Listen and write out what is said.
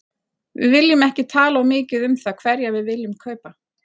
Við viljum ekki tala of mikið um það hverja við viljum kaupa.